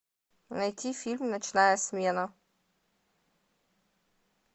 найти фильм ночная смена